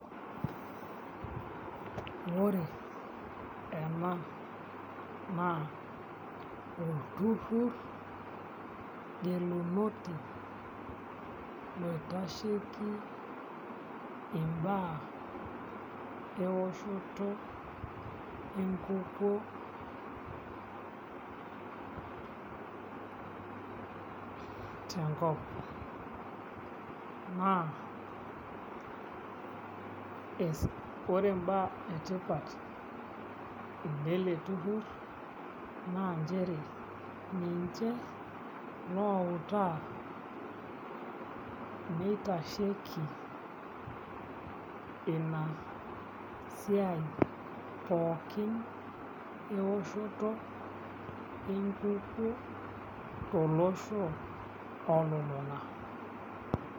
Ore ena naa olturrurr gelinoti oitasheiki imbaa eoshoto enkukuo tenkop naa oreimbaa etipat ele turrur naa outaa nitashetiki ina siai pookin ewoshoto enkukuo tolosho ololung'a.